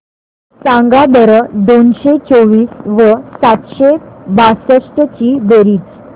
सांगा बरं दोनशे चोवीस व सातशे बासष्ट ची बेरीज